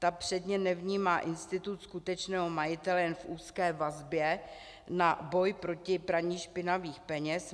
Ta předně nevnímá institut skutečného majitele jen v úzké vazbě na boj proti praní špinavých peněz.